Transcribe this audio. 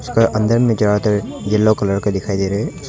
इसका अंदर में जा कर येलो कलर का दिखाई दे रहे है उसका--